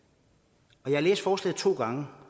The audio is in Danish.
jeg har læst forslaget to gange